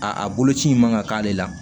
A boloci in man ka k'ale la